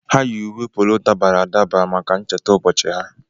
Ha yi uwe polo dabara adaba maka ncheta ụbọchị ha.